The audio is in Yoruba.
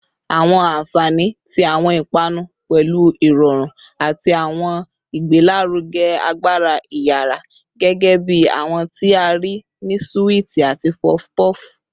Awọn anfani ti awọn ipanu pẹlu irọrun ati awọn igbelaruge agbara iyara, gẹgẹbi awọn ti a rii ni suwiti ati puff puff